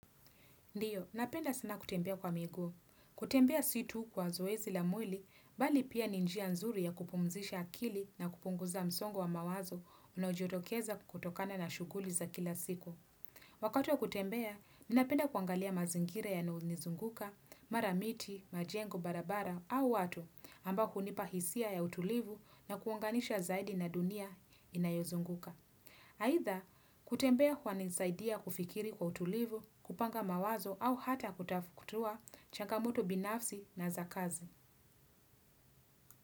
Ndiyo, napenda sana kutembea kwa miguu. Kutembea si tu kwa zoezi la mwili, bali pia ni njia nzuri ya kupumzisha akili na kupunguza msongo wa mawazo unaojitokeza kutokana na shughuli za kila siku. Wakati wa kutembea, ninapenda kuangalia mazingira yanayo nizunguka, mara miti, majengo, barabara au watu ambao hunipa hisia ya utulivu na kuunganisha zaidi na dunia inayozunguka. Aidha, kutembea kwa nisaidia kufikiri kwa utulivu, kupanga mawazo au hata kutafukutua changamoto binafsi na zakazi.